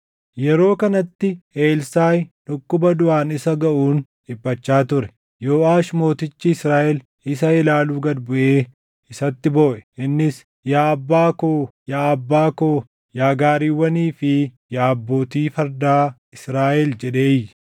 Yeroo kanatti Elsaaʼi dhukkuba duʼaan isa gaʼuun dhiphachaa ture. Yooʼaash mootichi Israaʼel isa ilaaluu gad buʼee isatti booʼe. Innis, “Yaa abbaa koo! Yaa abbaa koo! Yaa gaariiwwanii fi yaa abbootii fardaa Israaʼel!” jedhee iyye.